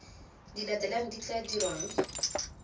di latelang di tla dirwang